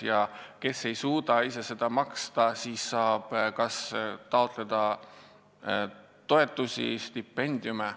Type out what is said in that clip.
Ja kes ei suuda ise maksta, see saab taotleda toetusi ja stipendiume.